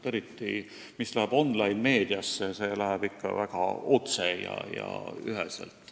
Eriti see, mis läheb online-meediasse, läheb ikka väga otse ja üheselt.